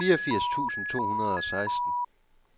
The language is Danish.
fireogfirs tusind to hundrede og seksten